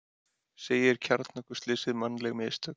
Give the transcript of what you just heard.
Segir kjarnorkuslysið mannleg mistök